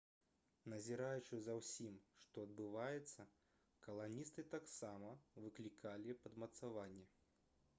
назіраючы за ўсім што адбываецца каланісты таксама выклікалі падмацаванне